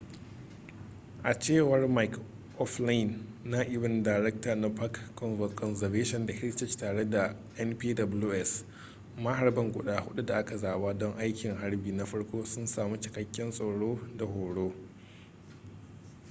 a cewar mick o'flynn na'ibin daraktan na park conservation da heritage tare da npws maharban guda hudu da aka zaba don aikin harbi na farko sun sami cikakken tsaro da horo